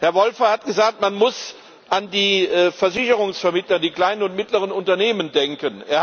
Herr Woolfe hat gesagt, man muss an die Versicherungsvermittler, die kleinen und mittleren Unternehmen denken.